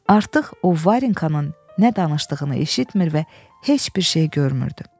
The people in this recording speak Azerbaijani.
Artıq o Varenkanın nə danışdığını eşitmir və heç bir şeyi görmürdü.